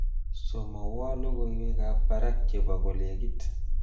Somowo logoiwekab barak chebo kolekit